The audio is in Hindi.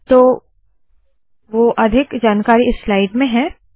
तो वोह अधिक जानकारी इस स्लाइड में है